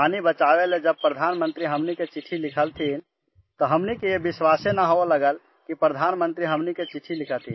पानी बचाने के लिए जब प्रधानमंत्री जी ने हमें चिट्ठी लिखी तो हमें विश्वास ही नहीं हुआ कि प्रधानमंत्री ने हमें चिट्ठी लिखी है